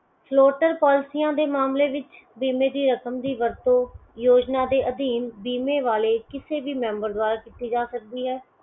floaterPolicies ਦੇ ਮਾਮਲੇ ਵਿੱਚ ਬੀਮੇ ਦੀ ਰਕਮ ਦੀ ਵਰਤੋਂ ਯੋਜਨਾ ਦੇ ਅਧੀਨ ਬੀਮੇ ਵਾਲੇ ਕਿਸੇ ਵੀ member ਦੁਆਰਾ ਕੀਤੀ ਜਾ ਸਕਦੀ ਹੈ